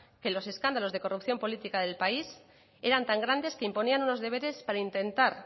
que los escándalos de corrupción política del país eran tan grandes que imponían unos deberes para intentar